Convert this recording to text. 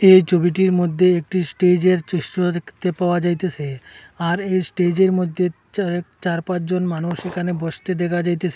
এই ছবিটির মধ্যে একটি স্টেজের দৃশ্য দেখতে পাওয়া যাইতেসে আর এই স্টেজের মধ্যে চা চারপাঁচ জন মানুষ এখানে বসতে দেখা যাইতেসে।